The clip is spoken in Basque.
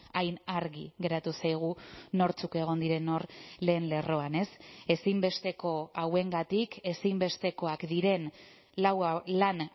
hain argi geratu zaigu nortzuk egon diren hor lehen lerroan ezinbesteko hauengatik ezinbestekoak diren lan